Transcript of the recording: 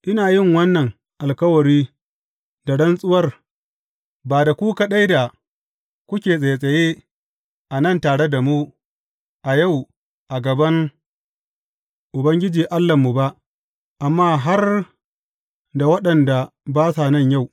Ina yin wannan alkawari da rantsuwar, ba da ku kaɗai da kuke tsattsaye a nan tare da mu a yau a gaban Ubangiji Allahnmu ba, amma har da waɗanda ba sa nan yau.